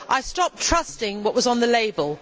I stopped trusting what was on the label.